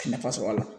Nafa sɔrɔ a la